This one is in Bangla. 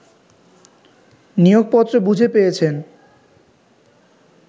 নিয়োগপত্র বুঝে পেয়েছেন